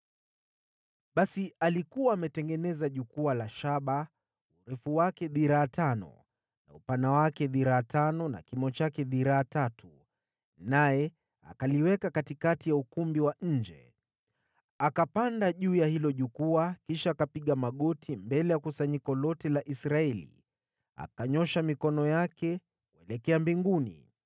Basi Solomoni alikuwa ametengeneza jukwaa la shaba, urefu wake dhiraa tano, na upana wake dhiraa tano na kimo chake dhiraa tatu, naye akaliweka katikati ya ukumbi wa nje. Akapanda juu ya hilo jukwaa kisha akapiga magoti mbele ya kusanyiko lote la Israeli, akanyoosha mikono yake kwelekea mbinguni.